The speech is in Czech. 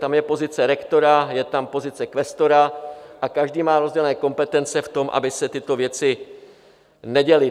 Tam je pozice rektora, je tam pozice kvestora a každý má rozdělené kompetence v tom, aby se tyto věci neděly.